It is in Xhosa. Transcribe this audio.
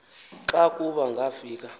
xa kuba ngafika